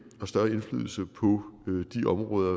og større indflydelse på de områder